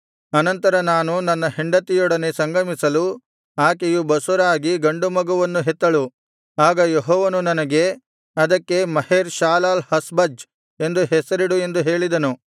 ಅನಂತರ ನಾನು ನನ್ನ ಹೆಂಡತಿಯೊಡನೆ ಸಂಗಮಿಸಲು ಆಕೆಯು ಬಸುರಾಗಿ ಗಂಡು ಮಗುವನ್ನು ಹೆತ್ತಳು ಆಗ ಯೆಹೋವನು ನನಗೆ ಅದಕ್ಕೆ ಮಹೇರ್ ಶಾಲಾಲ್ ಹಾಷ್ ಬಜ್ ಎಂದು ಹೆಸರಿಡು ಎಂದು ಹೇಳಿದನು